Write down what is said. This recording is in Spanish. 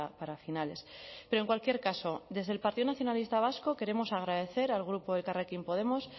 para finales pero en cualquier caso desde el partido nacionalista vasco queremos agradecer al grupo de elkarrekin podemos